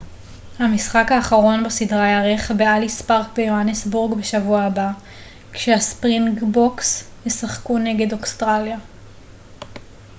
המשחק האחרון בסדרה ייערך באליס פארק ביוהנסבורג בשבוע הבא כשהספרינגבוקס ישחקו נגד אוסטרליה